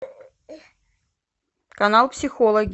канал психологи